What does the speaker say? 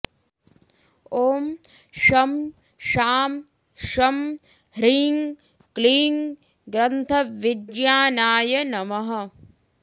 ॐ शं शां षं ह्रीं क्लीं ग्रन्थविज्ञानाय नमः